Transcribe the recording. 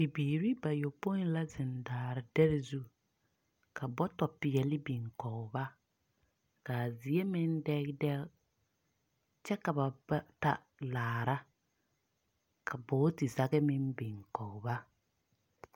Bibiiri bayɔpoi la zeŋ daare dɛre zu, ka bɔtɔ sɔglaa biŋ kɔge ba, kaa zie meŋ dɛge, dɛge, kyɛ ka ba bata laara, ka bogiti zage meŋ biŋ kɔge ba.